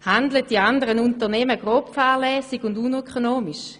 Handeln die anderen Unternehmen grobfahrlässig und unökonomisch?